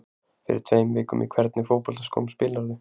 Fyrir tveim vikum Í hvernig fótboltaskóm spilarðu?